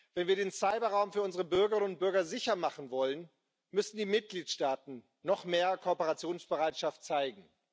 Wenn wir den Cyberraum für unsere Bürgerinnen und Bürger sicher machen wollen, müssen die Mitgliedstaaten noch mehr Kooperationsbereitschaft zeigen.